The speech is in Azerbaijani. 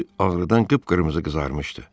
Üzü ağrıdan qıpqırmızı qızarmışdı.